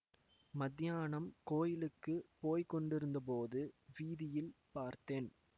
மத்தியானம் கோயிலுக்கு போய் கொண்டிருந்தபோது வீதியில் பார்த்தேன்